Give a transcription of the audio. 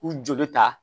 U joli ta